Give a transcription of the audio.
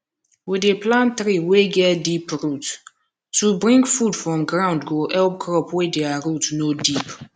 we dey plant tree wey get deep root to bring food from ground go help crop wey dia root no deep